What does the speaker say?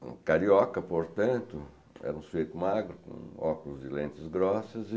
um carioca, portanto, era um sueto magro, com óculos e lentes grossas.